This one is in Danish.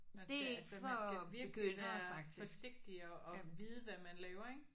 Man skal altså man skal virkelig være forsigtig og og vide hvad man laver ik